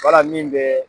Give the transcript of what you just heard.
Wala min bɛ